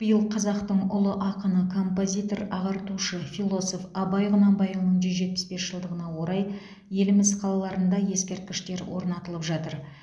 биыл қазақтың ұлы ақыны композитор ағартушы философ абай құнанбайұлының жүз жетпіс бес жылдығына орай еліміз қалаларында ескерткіштер орнатылып жатыр